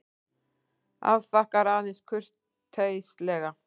Afþakkar aðeins kurteislega.